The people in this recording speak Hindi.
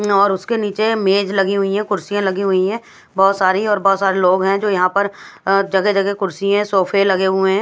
और उसके नीचे मेज लगी हुई हैं कुर्सियां लगी हुई हैं बहुत सारी और बहुत सारे लोग हैं जो यहां पर अह जगह जगह कुर्सी हैं सोफे लगे हुए हैं।